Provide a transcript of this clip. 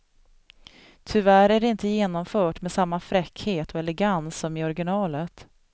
Tyvärr är det inte genomfört med samma fräckhet och elegans som i originalet.